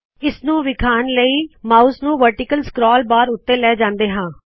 ਇਸਨੂੰ ਵਿਖਾਣ ਲਇ ਮਾਉਸ ਨੂ ਵਰਟੀਕਲ ਸਕਰੋਲ ਬਾਰ ਉੱਤੇ ਲੈ ਜਾਂਦੇ ਹਾ